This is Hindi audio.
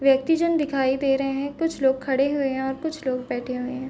व्यक्ति जन दिखाई दे रहे है कुछ लोग खड़े हुए है और कुछ लोग बैठे हुए है।